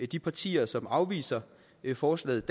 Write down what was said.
de partier som afviser forslaget